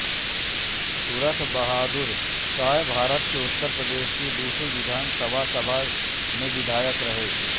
सुरथ बहादुर शाहभारत के उत्तर प्रदेश की दूसरी विधानसभा सभा में विधायक रहे